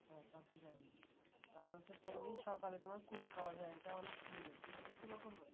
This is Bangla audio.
হ্যাঁ তা তো জানি তারপর হচ্ছে প্রতিদিন সকালে তোমার কুস খাওয়া যায় এটা অনেক সুন্দর তুমি দেখছো কখনো